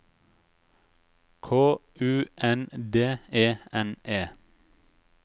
K U N D E N E